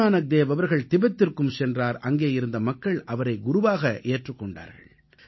குருநானக்தேவ் அவர்கள் திபெத்திற்கும் சென்றார் அங்கே இருந்த மக்கள் அவரை குருவாக ஏற்றுக் கொண்டார்கள்